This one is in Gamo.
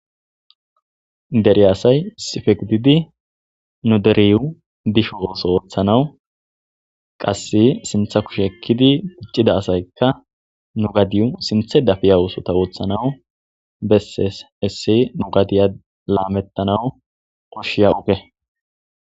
deri asay sifeqididi nu deriyu disho ooso ooththanawu qasse sintha kushe ekkidi puccida asaykka nu gadiyu sinthe dafiya oosota ooththanawu bessees essi nu gadiya laamettanawu koshshiya uke